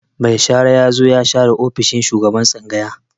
Mai shara ya zo ya share ofishin shugaban tsangaya.